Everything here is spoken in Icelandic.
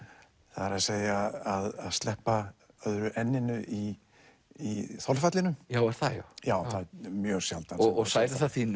það er að að sleppa öðru n inu í í þolfallinu já er það já já það er mjög sjaldan særir það þín